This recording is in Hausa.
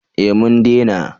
Eh mun dena